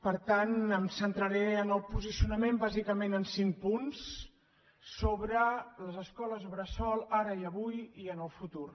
per tant em centraré en el posi cionament bàsicament en cinc punts sobre les escoles bressol ara i avui i en el futur